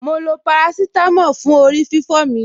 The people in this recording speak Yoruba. Mo lo parasítámọ̀ fún orí-fífọ́ mi.